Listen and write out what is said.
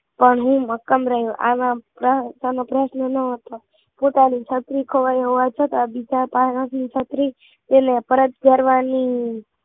પણ હું મક્કમ રહ્યો આ વાર્તા નો પ્રશ્ન ન હતો પોતાની છત્રી ખોવાઈ હોવા છતાં બીજા પાહેથી છત્રી એટલે પરત કરવાની